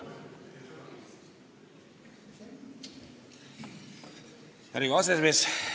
Hea Riigikogu aseesimees!